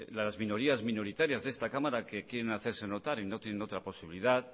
las minorías minoritarias de esta cámara que quieren hacerse notar y no tienen otra posibilidad